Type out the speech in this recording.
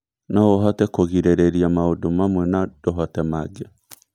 No ũhote kũgirĩrĩria maũndũ mamwe na ndũhote mangĩ.